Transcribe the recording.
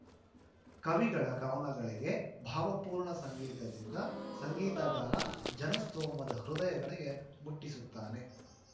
ಕವಿಗಳ ಕವನಗಳಿಗೆ ಭಾವಪೂರ್ಣ ಸಂಗೀತದಿಂದ ಸಂಗೀತಗಾರ ಜನಸ್ತೋಮದ ಹೃದಯಗಳಿಗೆ ಮುಟ್ಟಿಸುತ್ತಾನೆ